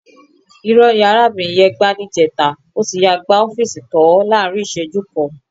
Ìrọ́ ni arábìnrin yẹn gbá níjẹta. Ó ti yáa gbá ọ́fíìsì tàn án láàrín ìṣẹ́jú kan.